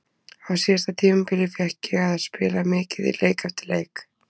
Á síðasta tímabili fékk ég að spila mikið, leik eftir leik.